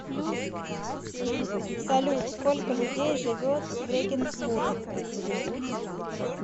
салют сколько людей живет в регенсбург